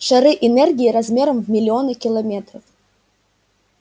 шары энергии размером в миллионы километров